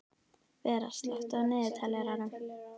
Vera, slökktu á niðurteljaranum.